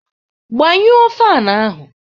Gbanyụọ fan ahụ!